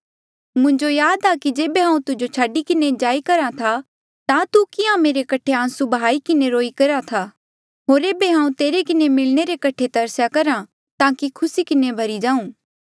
मुंजो याद आ कि जेबे हांऊँ तुजो छाडी किन्हें जाई करहा ता तू किहां मेरे कठे आंसू ब्हाई किन्हें रोई करहा था होर ऐबे हांऊँ तेरे किन्हें मिलणे रे कठे तरस्या करहा ताकि खुसी किन्हें भरी जाऊं